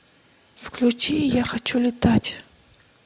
включи я хочу летать